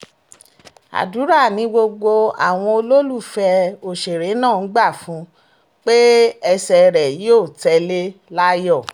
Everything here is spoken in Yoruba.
àdúrà ni gbogbo àwọn olólùfẹ́ òṣèré náà ń gbà fún un pé ẹsẹ̀ rẹ̀ yóò tẹ̀lé láyọ̀